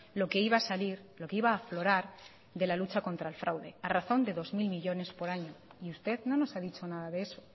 lo que iba a salir lo que iba a aflorar de la lucha contra el fraude a razón de dos mil millónes por año y usted no nos ha dicho nada de eso